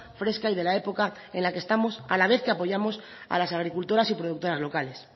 fresca y de la época en la que estamos a la vez que apoyamos a las agricultoras y productoras locales